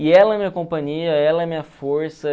E ela é minha companhia, ela é minha força.